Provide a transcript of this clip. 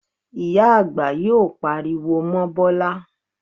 Ìyá àgbà yóò pariwo mọ́ Bọ́lá